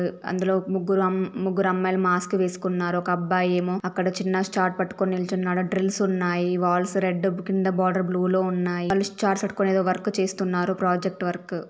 అందులో ముగ్గురు అం ముగ్గురు అమ్మాయిలు మాస్క్ వేసుకున్నారు ఒక అబ్బాయి ఏమో అక్కడ చిన్న చార్ట్ పట్టుకొని నిల్చున్నాడు డ్రిల్స్ ఉన్నాయి వాల్స్ రెడ్ కింద బోర్డర్ బ్ల్యూ లో ఉన్నాయి వాలు చార్ట్ పట్టుకొని ఏదో వర్క్ చేస్తున్నారు ప్రాజెక్టు వర్క్.